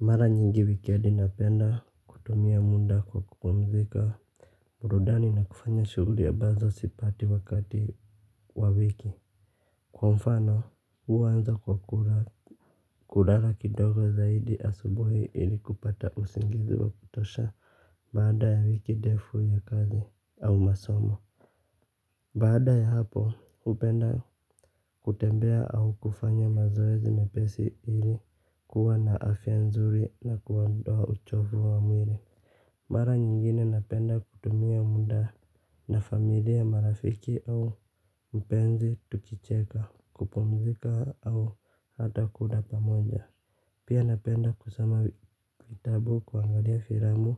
Mara nyingi weekend napenda kutumia muda kwa kupumzika burudani na kufanya shughuri ambazo sipati wakati wa wiki kwa mfano huwa naanza kwa kulala kidogo zaidi asubuhi ili kupata usingizi wa kutosha. Baada ya wiki ndefu ya kazi au masomo baada ya hapo, hupenda kutembea au kufanya mazoezi mepesi ili kuwa na afya nzuri na kuondoa uchovu wa mwili. Mara nyingine napenda kutumia muda na familia marafiki au mpenzi tukicheka, kupumzika au hata kula pamoja. Pia napenda kusoma vitabu, kuangalia filamu